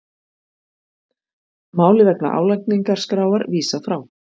Máli vegna álagningarskráar vísað frá